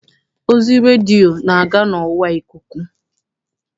Ozi redio na-aga n'ọwa ikuku.